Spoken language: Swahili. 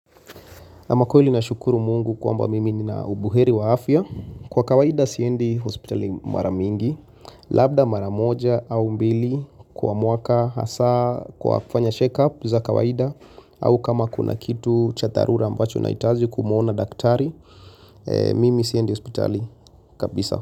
Kama kweli nashukuru mungu kwamba mimi nina ubuheri wa afya. Kwa kawaida siendi hospitali mara mingi. Labda mara moja au mbili kwa mwaka hasa kwa kufanya check up za kawaida. Au kama kuna kitu cha dharura ambacho nahitaji kumwona daktari. Mimi siendi hospitali kabisa.